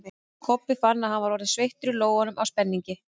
Kobbi fann að hann var orðinn sveittur í lófunum af spenningi.